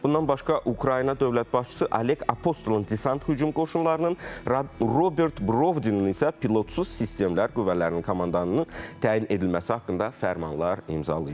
Bundan başqa Ukrayna dövlət başçısı Oleq Apostolun desant hücum qoşunlarının, Robert Brovdinin isə pilotsuz sistemlər qüvvələrinin komandanının təyin edilməsi haqqında fərmanlar imzalayıb.